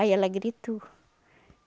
Aí ela gritou.